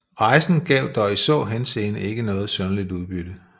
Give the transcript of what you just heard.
Rejsen gav dog i så henseende ikke noget synderligt udbytte